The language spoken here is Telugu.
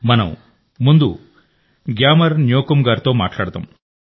మనం ముందు గ్యామర్ న్యోకుమ్ గారితో మాట్లాడదాం